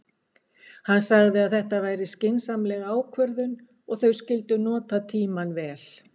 Hann sagði að þetta væri skynsamleg ákvörðun og þau skyldu nota tímann vel.